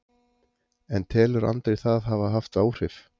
En telur Andri það hafa haft áhrif?